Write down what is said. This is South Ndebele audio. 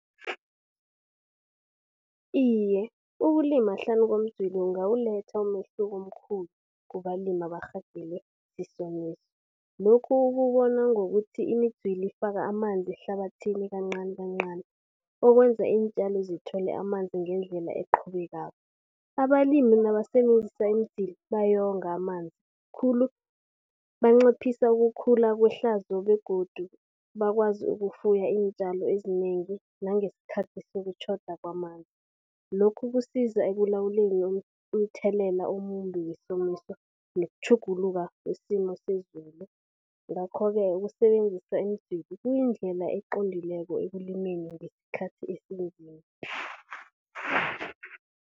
Iye, ukulima hlanu komdzwili kungawuletha umehluko omkhulu kubalimi abarhagele isomiso. Lokhu ukubona ngokuthi imidzwili ifaka amanzi ehlabathini kancani kancani, okwenza iintjalo zithole amanzi ngendlela eqhubekako. Abalimi nabasebenzisa imdzwili bayonga amanzi khulu. Banciphisa ukukhula kwehlazo begodu bakwazi ukufuya iintjalo ezinengi, nangeskhathi sokutjhoda kwamanzi. Lokhu kusiza ekulawuleni umthelela omumbi wesomiso nokutjhuguluka kwesimo sezulu. Ngakho-ke ukusebenzisa imidzwili kuyindlela eqondileko ekulimeni ngeskhathi esinzima.